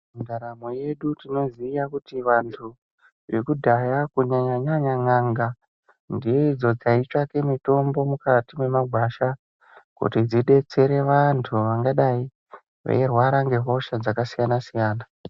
Mundaramo yedu tinoziya kuti vantu ekudhaya kunyanya nyanya n'anga ndidzo dzaitsvaka mitombo mukati memagwasha kuti dzidetsere vantu vsngadai veirwara ngehosha dzakasiyana siyana.